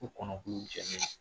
Ko kɔnɔkulu jɛlen